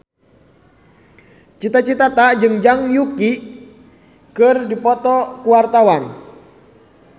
Cita Citata jeung Zhang Yuqi keur dipoto ku wartawan